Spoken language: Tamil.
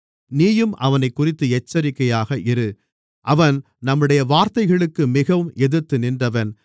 நீயும் அவனைக்குறித்து எச்சரிக்கையாக இரு அவன் நம்முடைய வார்த்தைகளுக்கு மிகவும் எதிர்த்து நின்றவன்